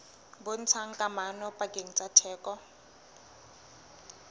bontshang kamano pakeng tsa theko